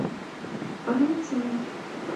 валентиной